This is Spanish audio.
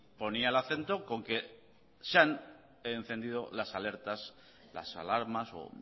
ponía el acento con que se han encendido las alertas las alarmas o